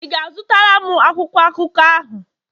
Ị ga-azụtara m akwụkwọ akụkọ ahụ?